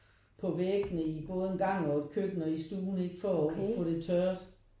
På væggene i både gangen og i køkken og i stuen ikke for at få det tørret